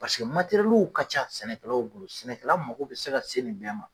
ka ca sɛnɛkɛlaw bolo sɛnɛkɛla mako bɛ se ka se nin bɛɛ ma.